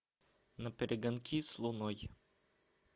наперегонки с луной